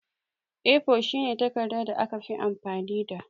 A4 shine takarɗa da aka fi amfani da.